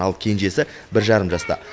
ал кенжесі бір жарым жаста